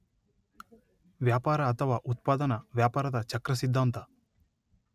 ವ್ಯಾಪಾರ ಅಥವಾ ಉತ್ಪಾದನಾ ವ್ಯಾಪಾರದ ಚಕ್ರ ಸಿದ್ಧಾಂತ